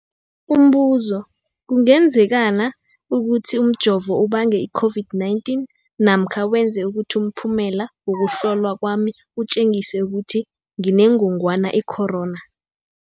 Umbuzo, kungenzekana ukuthi umjovo ubange i-COVID-19 namkha wenze ukuthi umphumela wokuhlolwa kwami utjengise ukuthi nginengogwana i-corona?